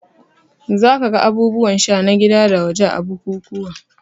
Za ka ga abubuwan sha na gida da waje a bukukuwa